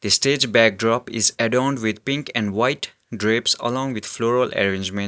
stage backdrop is adorned with pink and white drapes along with floral arrangement.